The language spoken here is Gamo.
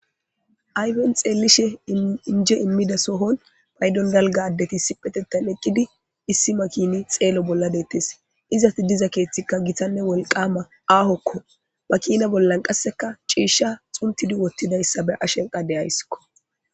Ayfen xeellishe injje immida sohon paydon dalgga addeti issippeteththan eqqidi issi makini xeelo bolla deettes. Izeti diza keeththi gitanne wolqqama aahokko. Makina bollan qasseka ciishsha xuntidi woththidayssa be'ashe de'ayssiko.